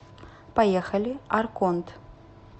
поехали арконт